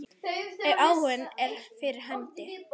Ef áhuginn er fyrir hendi.